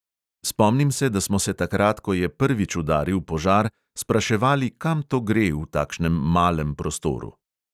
Spomnim se, da smo se takrat, ko je prvič udaril požar, spraševali, kam to gre, v takšnem malem prostoru.